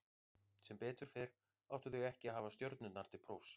Sem betur fer áttu þau ekki að hafa stjörnurnar til prófs.